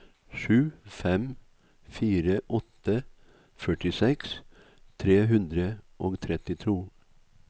sju fem fire åtte førtiseks tre hundre og trettito